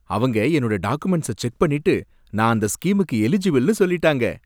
அவங்க என்னோட டாகுமெண்ட்ஸ செக் பண்ணிட்டு நான் அந்த ஸ்கீமுக்கு எலிஜிபிள்னு சொல்லிட்டாங்க.